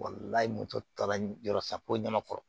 moto ta la yɔrɔ sa poyɔn kama kɔrɔ